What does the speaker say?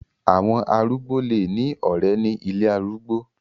Àwọn arúgbó lè ní ọ̀ré ní ilé arúgbó.